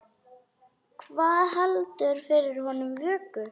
Hvað heldur fyrir honum vöku?